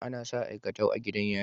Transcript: Anasa aikatau a gidan yari